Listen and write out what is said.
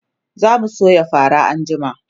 zamu soya fara anjima